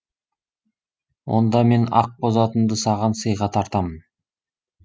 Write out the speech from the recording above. онда мен ақбоз атымды саған сыйға тартамын